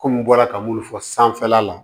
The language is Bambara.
Kɔmi n bɔra ka minnu fɔ sanfɛla la